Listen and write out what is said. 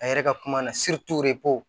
A yɛrɛ ka kuma na